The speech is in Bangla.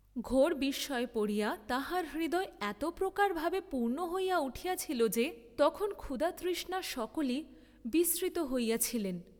ঘোর বিস্ময়ে পড়িয়া তাঁহার হৃদয় এত প্রকার ভাবে পূর্ণ হইয়া উঠিয়াছিল যে তখন ক্ষুধাতৃষ্ণা সকলই বিস্মৃত হইয়াছিলেন।